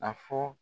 A fɔ